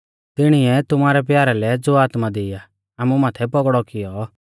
तिणीऐ तुमारै प्यारा लै ज़ो आत्मा दी आ आमु माथै पौगड़ौ कियौ